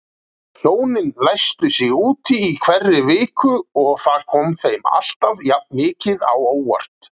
Hjónin læstu sig úti í hverri viku og það kom þeim alltaf jafnmikið á óvart.